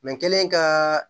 n kɛlen ka